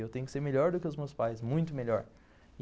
Eu tenho que ser melhor do que os meus pais, muito melhor.